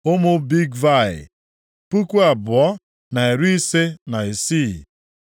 Ụmụ Bigvai, puku abụọ na iri ise na isii (2,056).